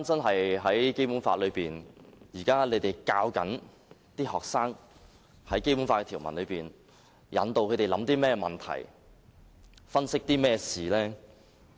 看回《基本法》，現時政府教導學生《基本法》的條文時引導他們去思考甚麼問題，分析甚麼事情？